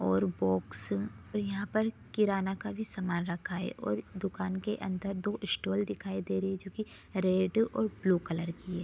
और बॉक्स और यहाँ पर किराना का सामान भी रखा है और दुकान के अंदर दो स्टूल दिखाई दे रही है जो की रेड और ब्लू कलर की है।